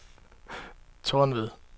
Tornved